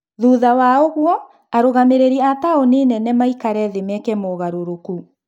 Thutha wa ũguo, arũgamĩrĩri a-taũni nene maikarethĩ meke maũgarũrũku.